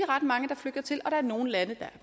ret mange der flygter til og der er nogle lande der er